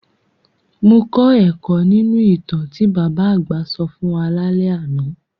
Mo kọ́ ẹ̀kọ́ nínu ìtàn tí bàbá àgbà sọ fún wa lálẹ́ àná.